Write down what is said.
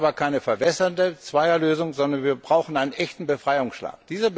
Wir brauchen aber keine verwässernde Zweierlösung, sondern wir brauchen einen echten Befreiungsschlag.